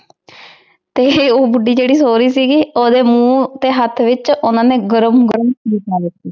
ਊ ਬੁਧਿ ਜੇਰੀ ਸੋ ਰਹੀ ਸੀਗੀ ਓਹਦੇ ਮੁਹ ਹੇਠ ਵਿਚ ਓਹਨਾਂ ਨੇ ਗਰਮ ਗਰਮ ਖੀਰ ਪਾ ਦਿਤੀ